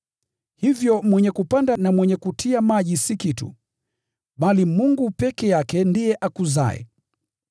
Hivyo mwenye kupanda na mwenye kutia maji si kitu, bali Mungu peke yake ambaye huifanya ikue.